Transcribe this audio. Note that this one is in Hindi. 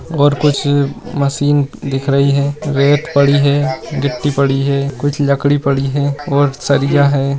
और कुछ मशीन दिख रही है रेत पड़ी है गिट्टी पड़ी है कुछ लकड़ी पड़ी है और सरिया है।